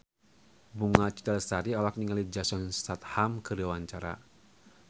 Bunga Citra Lestari olohok ningali Jason Statham keur diwawancara